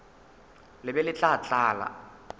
le be le tla tlala